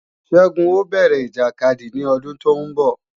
Ṣẹ́gun ó bẹ̀rẹ̀ ìjàkadì ní ọdún tóún bọ̀